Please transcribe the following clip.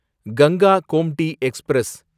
Ganga Gomti express